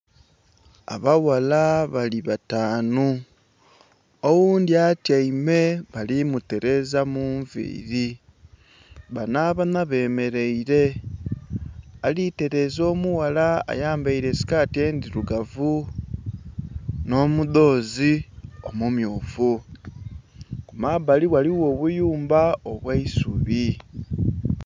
Abawala bali bataanu oghundhi atyaime bali mutereeza mu nviili, bano abanha bemeleire, ali tereeza omuwala ayambaire esikati endhirugavu n'omudhoozi omummyufu. Ku mabbali ghaligho obuyumba obw'eisubi.